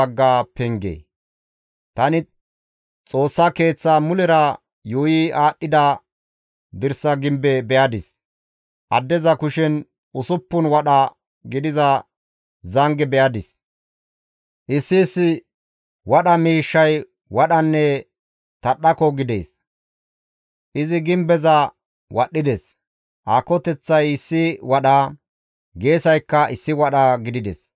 Tani Xoossa Keeththa mulera yuuyi aadhdhida dirsa gimbe be7adis. Addeza kushen usuppun wadha gidiza zange be7adis; issi issi wadha miishshay wadhanne tadhdhako gidees; izi gimbeza wadhdhides; aakoteththay issi wadha, geesaykka issi wadha gidides.